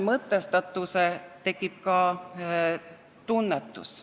Mõtestatuse kaudu tekib ka tunnetus.